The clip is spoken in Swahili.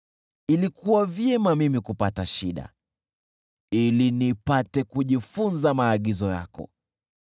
Ilikuwa vyema mimi kupata shida ili nipate kujifunza maagizo yako.